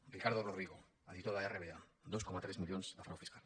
ricardo rodrigo editor d’rba dos coma tres milions de frau fiscal